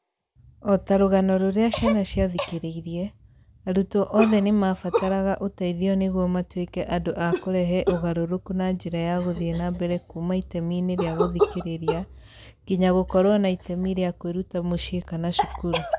O ta rũgano rũrĩa ciana ciathikĩrĩirie, arutwo othe nĩ mabataraga ũteithio nĩguo matuĩke andũ a kũrehe ũgarũrũku na njĩra ya gũthiĩ na mbere kuuma itemi-inĩ rĩa gũthikĩrĩria nginya gũkorũo na itemi rĩa kwĩruta mũciĩ kana cukuru